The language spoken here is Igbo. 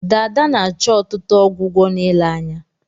Dada na-achọ ọtụtụ ọgwụgwọ na ile anya